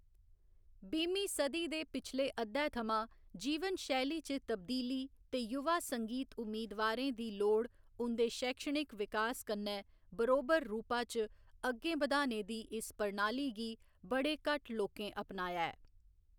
बीह्‌मीं सदी दे पिछले अद्धै थमां, जीवन शैली च तब्दीली ते युवा संगीत उम्मीदवारें दी लोड़ उं'दे शैक्षणिक विकास कन्नै बरोबर रूपा च अग्गें बधाने दी इस प्रणाली गी बड़े घट्ट लोकें अपनाया ऐ।